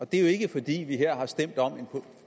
det er jo ikke fordi vi her har stemt om en